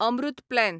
Amrit plan